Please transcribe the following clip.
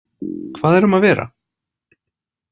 Hvað er um að vera?